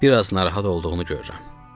Bir az narahat olduğunu görürəm.